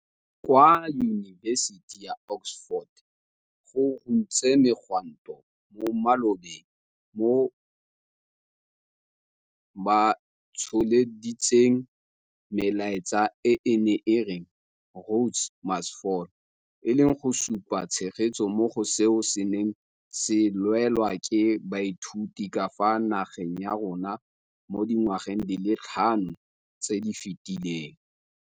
Kwa Yunibesiting ya Oxford go runtse megwanto mo malobeng moo batsholeditseng melaetsa e e neng e re 'Rhodes must Fall', e leng go supa tshegetso mo go seo se neng se lwelwa ke baithuti ka fa nageng ya rona mo dingwageng di le tlhano tse di fetileng.